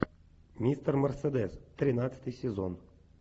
мистер мерседес тринадцатый сезон